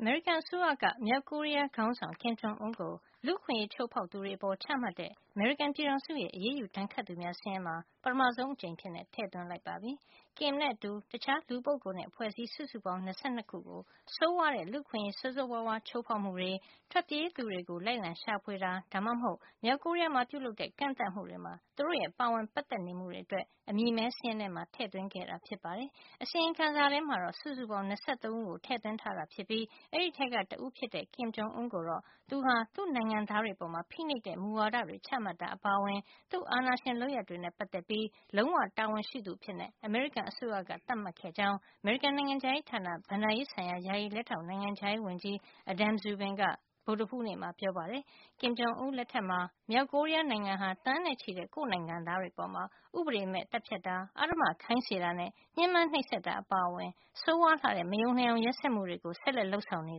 အမေရိကန်အစိုးရက မြောက်ကိုရီးယားခေါင်းဆောင် Kim Jong Un ကို လူ့အခွင့်ရေး ချိုးဖောက်သူတွေ အပေါ်ချမှတ်တဲ့ အမေရိကန်ပြည်ထောင်စုရဲ့ အရေးယူဒဏ်ခတ်သူများ စာရင်းမှာ ပထမဆုံးအကြိမ်အဖြစ် ထည့်သွင်းလိုက်ပါပြီ။ Kim နဲ့အတူ တခြားလူပုဂ္ဂိုလ်နဲ့ အဖွဲ့အစည်း စုစုပေါင်း ၂၂ ခု ကို ဆိုးရွားတဲ့ လူ့အခွင့်အရေး ဆိုးဆိုးရွားရွား ချိုးဖောက်မှုတွေ၊ ထွက်ပြေးသူတွေကို လိုက်လံ ရှာဖွေတာ ဒါမှမဟုတ် မြောက်ကိုရီးယားမှာ ပြုလုပ်တဲ့ ကန့်သတ်မှုတွေမှာ သူတို့ရဲ့ ပါဝင်ပတ်သက်နေမှုတွေအတွက် အမည်မည်း စာရင်းထဲမှာ ထည့်သွင်းခဲ့တာ ဖြစ်ပါတယ်။ အစီရင်ခံစာထဲမှာတော့ စုစုပေါင်း ၂၃ ဦးကို ထည့်သွင်းထားတာဖြစ်ပြီး အဲဒီထဲက တဦးဖြစ်တဲ့ Kim Jong Un ကိုတော့ သူဟာ သူ့နိုင်ငံသားတွေအပေါ် ဖိနှိပ်တဲ့ မူဝါဒတွေချမှတ်တာ အပါအဝင် သူ့အာဏာရှင် လုပ်ရပ်တွေနဲ့ ပတ်သက်ပြီး လုံးဝ တာဝန်ရှိသူအဖြစ် အမေရိကန်အစိုးရက သတ်မှတ်ခဲ့ကြောင်း အမေရိကန် နိုင်ငံခြားရေးဌာန ဘဏ္ဍာရေးဆိုင်ရာ ယာယီ လက်ထောက် နိုင်ငံခြားရေးဝန်ကြီး Adam Szubin က ဗုဒ္ဓဟူးနေ့မှာ ပြောပါတယ်။ Kim Jong Un လက်ထက်မှာ မြောက်ကိုရီးယား နိုင်ငံဟာ သန်းနဲ့ချီတဲ့ ကိုယ့်နိုင်ငံသားတွေအပေါ် ဥပဒေမဲ့ သတ်ဖြတ်တာ၊ အဓမ္မခိုင်းစေတာနဲ့ ညှင်းပမ်းနှိပ်စက်တာ အပါအဝင် ဆိုးရွားလှတဲ့ မယုံနိုင်အောင် ရက်စက်မှုတွေ ဆက်လက် လုပ်ဆောင်နေ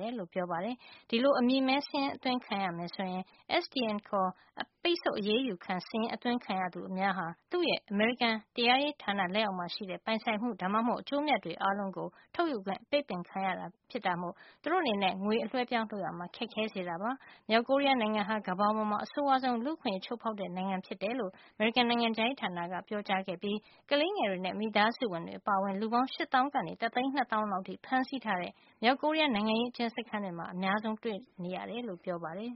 တယ်လို့ ပြောပါတယ်။ ဒီလို အမည်မည်းစာရင်း အသွင်းခံရမယ်ဆိုရင် SDN ခေါ် ပိတ်ဆို့အရေးယူခံစာရင်း အသွင်းခံရသူများဟာ သူ့ရဲ့ အမေရိကန်တရားရေးဌာန လက်အောက်မှာရှိတဲ့ ပိုင်ဆိုင်မှု ဒါမှမဟုတ် အကျိုးအမြတ်တွေ အားလုံးကို ထုတ်ယူခွင့် အပိတ်ပင်ခံရတာ ဖြစ်မို့ သူတို့အနေနဲ့ ငွေအလွှဲ အပြောင်း လုပ်ရာမှာ ခက်ခဲစေတာပါ။ မြောက်ကိုရီးယား နိုင်ငံဟာ ကမ္ဘာပေါ်မှာ အဆိုးဝါးဆုံး လူ့အခွင့်ရေးချိုုးဖေါက်တဲ့ နိုင်ငံဖြစ်တယ်လို့ အမေရိကန် နိုင်ငံခြားရေးဌာနက ပြောကြားခဲ့ပြီး ကလေးငယ်တွေနဲ့ မိသားစုဝင်တွေ အပါအဝင် လူပေါင်း ၈ သောင်း ကနေ တသိန်း ၂ သောင်း လောက်အထိ ဖမ်းဆီးထားတဲ့ မြောက်ကိုရီးယား နိုင်ငံရေးအကျဉ်းစခန်းတွေမှာ အများဆုံး တွေ့ရတယ်လို့ ပြောပါတယ်